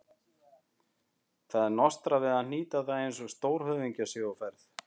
Það er nostrað við að hnýta það eins og stórhöfðingjar séu á ferð.